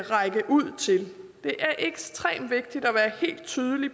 række ud til det er ekstremt vigtigt at være helt tydelig